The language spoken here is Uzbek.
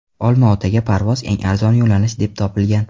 Olmaotaga parvoz eng arzon yo‘nalish deb topilgan.